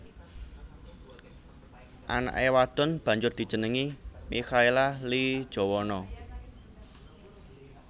Anake wadon banjur dijenengi Mikhaela Lee Jowono